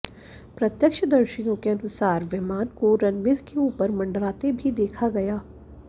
प्रत्यक्षदर्शियों के अनुसार विमान को रनवे के ऊपर मंडराते भी देखा गया